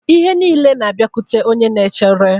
Ihe niile na-abịakwute onye na-echere